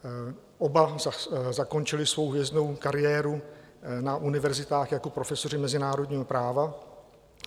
Oba zakončili svou hvězdnou kariéru na univerzitách jako profesoři mezinárodního práva.